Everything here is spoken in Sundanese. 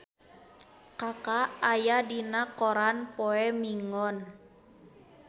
Kaka aya dina koran poe Minggon